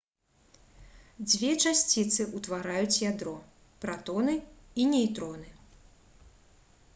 дзве часціцы ўтвараюць ядро пратоны і нейтроны